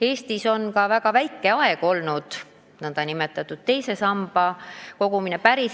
Eestis on ka väga lühikest aega jõus olnud teise sambasse raha kogumine.